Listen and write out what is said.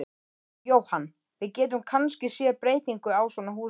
Jóhann: Við getum kannski séð breytingu á svona húsi?